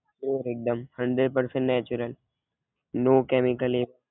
pure એકદમ hundred percent natural no chemical એમ